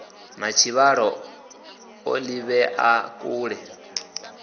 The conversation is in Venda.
na tshivhalo o ḓivhea kule